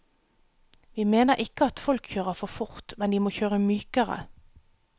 Vi mener ikke at folk kjører for fort, men de må kjøre mykere.